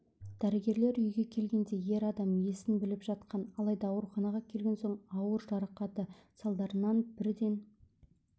дәрігерлер үйге келгенде ер адам есін біліп жатқан алайда ауруханаға келген соң ауыр жарақаты салдарынан бірден